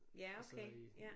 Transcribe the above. Ja okay ja